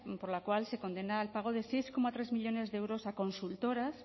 por la cual se condena al pago del seis coma tres millónes de euros a consultoras